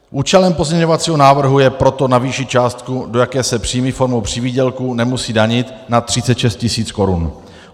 Účelem pozměňovacího návrhu je proto navýšit částku, do jaké se příjmy formou přivýdělku nemusí danit, na 36 tisíc korun.